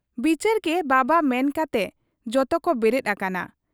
ᱵᱤᱪᱟᱹᱨᱜᱮ ᱵᱟᱵᱟ ᱢᱮᱱᱠᱟᱛᱮ ᱡᱚᱛᱚᱠᱚ ᱵᱮᱨᱮᱫ ᱟᱠᱟᱱᱟ ᱾